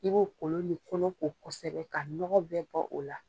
I b'o kolon ni kɔnɔ ko kosɛbɛ ka nɔgɔ bɛ bɔ o la